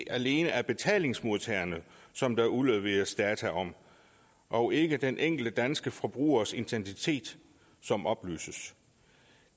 alene er betalingsmodtagerne som der udleveres data om og ikke den enkelte danske forbrugers identitet som oplyses